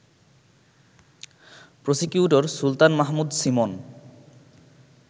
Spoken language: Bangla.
প্রসিকিউটর সুলতান মাহমুদসীমন